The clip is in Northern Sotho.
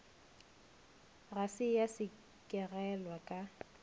ga se ya sekegelwa ka